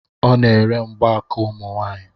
Ọ na-ere mgbaaka ụmụ nwanyị